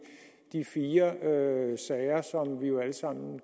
de fire sager som vi jo alle sammen